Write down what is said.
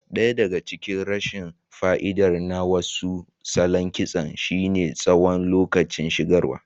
Ɗaya daga cikin rashin fa'idar na wasu salon kitson shine tsawon lokacin shigarwa.